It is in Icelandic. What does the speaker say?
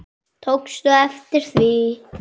Tókstu eftir því?